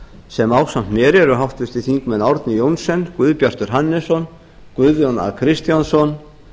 sem ásamt mér eru háttvirtir þingmenn árni johnsen guðbjartur hannesson guðjón a kristjánsson